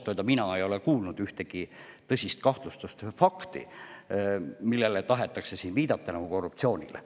Aga ausalt öelda ei ole ma kuulnud ühtegi tõsist kahtlustust või fakti, millele tahetakse siin viidata nagu korruptsioonile.